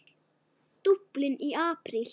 Dublin í apríl